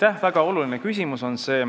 See on väga oluline küsimus.